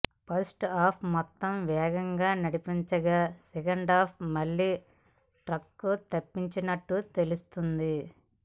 first half మొత్తం వేగంగా నడిపించగా సెకండ్ హాఫ్ మళ్లీ ట్రాక్ తప్పినట్టు తెలుస్తుంది